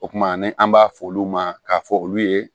O kumana ni an b'a f'olu ma k'a fɔ olu ye